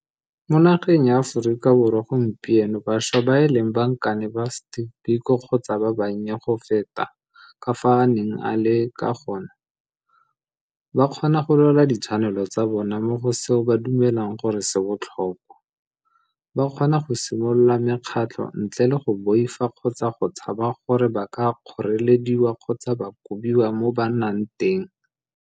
Mo nageng ya Aforika Borwa gompieno bašwa ba e leng bankane ba Steve Biko kgotsa ba bannye go feta ka fao a neng a le ba kgona go lwela ditshwanelo tsa bona mo go seo ba dumelang gore se botlhokwa, ba kgona go simolola mekgatlho ntle le go boifa kgotsa go tshaba gore ba ka kgorelediwa kgotsa ba kobiwa mo ba nnang teng.